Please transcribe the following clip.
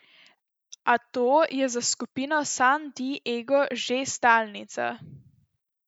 A to je za skupino San Di Ego že stalnica.